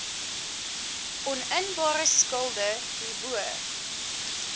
oninbare skulde hierbo